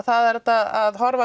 það er hægt að horfa